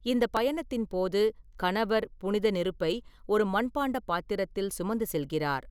இந்த பயணத்தின் போது கணவர் புனித நெருப்பை ஒரு மண்பாண்ட பாத்திரத்தில் சுமந்து செல்கிறார்.